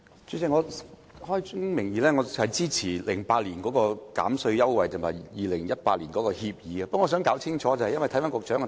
主席，我開宗明義支持2008年的扣稅優惠及2018年的新《協議》，但我想就局長的主體答覆弄清楚一點。